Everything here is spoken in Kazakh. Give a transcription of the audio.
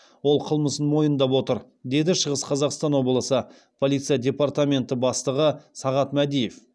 ол қылмысын мойындап отыр деді шығыс қазақстан облысы полиция департаменті бастығы сағат мәдиев